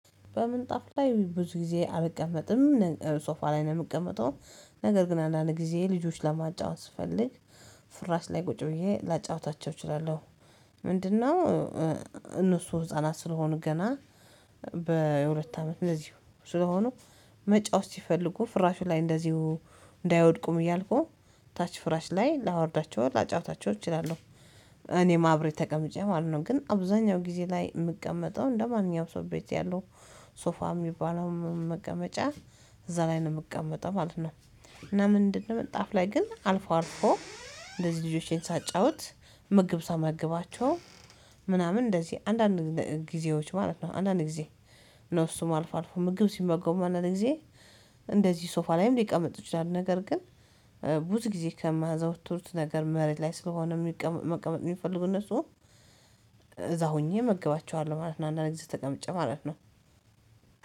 በምንጣፍ ላይ ብዙ ጊዜ አልቀመጥም ሶፋ ላይ ነው የምቀመጠው። ነገር ግን አንዳንድ ጊዜ ልጆች ለማጫወት ስፈልግ ፍራሽ ላይ ቁጭ ብዬ ላጫውታቸው እችላለሁ። ምንድነው እነሱ ህፃናት ስለሆኑ ገና በሁለት አመት እንደዚሁ ስለሆኑ መጫወት ሲፈልጉ ፍራሹ ላይ እንደዚሁ እንዳይወድቁም እያልኩ ታች ፍራሽ ላይ ላወርዳቸው ላጫውታቸው እችላለሁ። እኔም አብሬ ተቀምጬ ማለት ነው ግን አብዛኛው ጊዜ ላይ የምቀመጠው እንደማንኛውም ሰው ቤት ያለው ሶፋ የሚባለው መቀመጫ እዛ ላይ ነው የምቀመጠው ማለት ነው። እና ምንድ ነው ምንጣፍ ላይ ግን አልፎ አልፎ እንደዚህ ልጆቼን ሳጫውት ምግብ ሳመግባቸው ምናምን እንደዚህ አንዳንድ ጊዜዎች ማለት ነው አንዳንድ ጊዜ። ነው እሱም አልፎ አልፎ ምግብ ሲመገቡ አንዳንድ ጊዜ እንደዚህ ሶፋ ላይም ሊቀመጡ ይችላል። ነገር ግን ብዙ ጊዜ ከማዘወትሩት ነገር መሬት ላይ ስለሆነ የሚቀመጥ መቀመጥ የሚፈልጉ እነሱ እዛ ሆኜ መግባቸዋለሁ ማለት ነው። አንዳንድ ጊዜ ተቀምጬ ማለት ነው